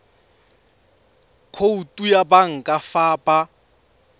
khoutu ya banka fa ba